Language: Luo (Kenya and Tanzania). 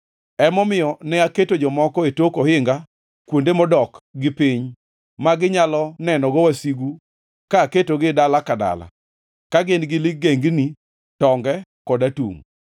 Emomiyo ne aketo jomoko e tok ohinga kuonde modok gi piny ma ginyalo nenogo wasigu ka aketogi dala ka dala, ka gin-gi ligengni, tonge kod atungʼ.